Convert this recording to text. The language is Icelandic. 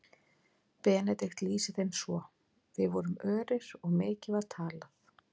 Benedikt lýsir þeim svo: Við vorum örir og mikið var talað.